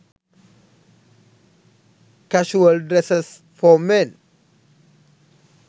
casual dresses for men